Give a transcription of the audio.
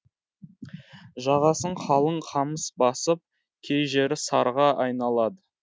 жағасын қалың қамыс басып кей жері сарға айналады